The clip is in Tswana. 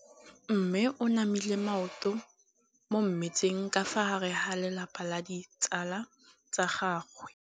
Mme o namile maoto mo mmetseng ka fa gare ga lelapa le ditsala tsa gagwe.